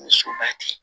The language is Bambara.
Ni soba tɛ